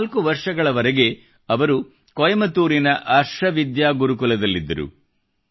4 ವರ್ಷಗಳವರೆಗೆ ಅವರು ಕೊಯಂಬತ್ತೂರಿನ ಆರ್ಷ ವಿದ್ಯಾ ಗುರುಕುಲದಲ್ಲಿದ್ದರು